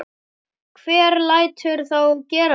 Hver lætur þá gera þetta?